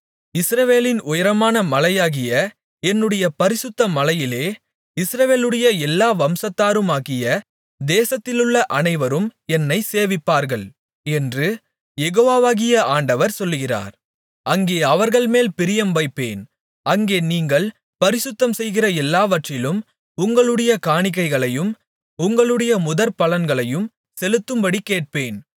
இஸ்ரவேலின் உயரமான மலையாகிய என்னுடைய பரிசுத்த மலையிலே இஸ்ரவேலுடைய எல்லா வம்சத்தாருமாகிய தேசத்திலுள்ள அனைவரும் என்னைச் சேவிப்பார்கள் என்று யெகோவாகிய ஆண்டவர் சொல்லுகிறார் அங்கே அவர்கள்மேல் பிரியம் வைப்பேன் அங்கே நீங்கள் பரிசுத்தம்செய்கிற எல்லாவற்றிலும் உங்களுடைய காணிக்கைகளையும் உங்களுடைய முதற்பலன்களையும் செலுத்தும்படி கேட்பேன்